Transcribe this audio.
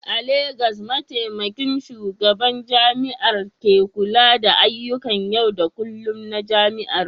A Legas, Mataimakin Shugaban Jami'ar ne ke kula da ayyukan yau da kullun na jami'ar